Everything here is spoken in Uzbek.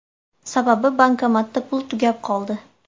Sababi bankomatda pul tugab qoldi.